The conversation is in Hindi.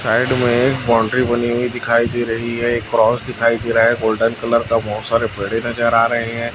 साइड में एक बाउंड्री बनी हुई दिखाई दे रही है एक क्रॉस दिखाई दे रहा है गोल्डन कलर का बहुत सारे पेड़े नजर आ रहे हैं।